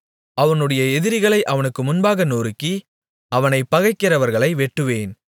அவனுடைய எதிரிகளை அவனுக்கு முன்பாக நொறுக்கி அவனைப் பகைக்கிறவர்களை வெட்டுவேன்